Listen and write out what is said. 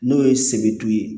N'o ye sebetu ye